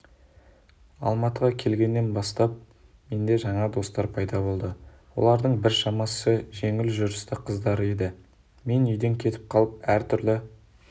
алматыға келгеннен бастап менде жаңа достар пайда болды олардың біршамасы жеңіл жүрісті қыздар еді мен үйден кетіп қалып әр түрлі